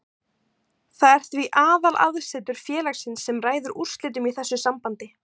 Það er því aðalaðsetur félagsins sem ræður úrslitum í þessu sambandi.